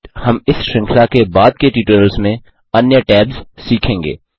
हम इस श्रृंखला के बाद के ट्यूटोरियल में अन्य टैब्स सीखेंगे